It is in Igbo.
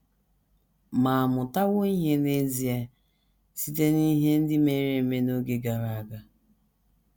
Ma à mụtawo ihe n’ezie site n’ihe ndị mere n’oge gara aga?